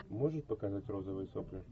можешь показать розовые сопли